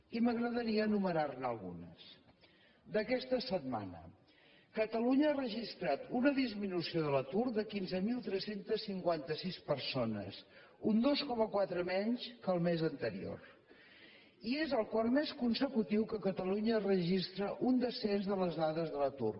i m’agradaria anomenar ne algunes d’aquesta setmana catalunya ha registrat una disminució de l’atur de quinze mil tres cents i cinquanta sis persones un dos coma quatre menys que el mes anterior i és el quart mes consecutiu que catalunya registra un descens de les dades de l’atur